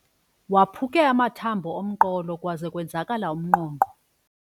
Waphuke amathambo omqolo kwaze kwenzakala umnqonqo.